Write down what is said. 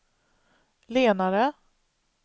lenare